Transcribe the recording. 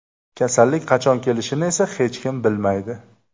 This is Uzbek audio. Kasallik qachon kelishini esa hech kim bilmaydi.